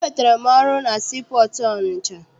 Enwetara m ọrụ na sii pọọtụ Ọnịcha.